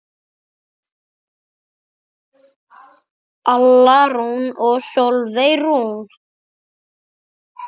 Alla Rún og Sólveig Rún.